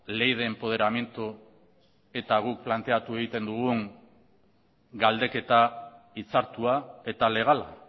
ley de empoderamiento eta guk planteatu egiten dugun galdeketa hitzartua eta legala